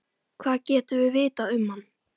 Hvað getum við vitað um hann?